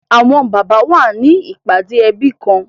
Awọn baba wa ni ipade ẹbi kan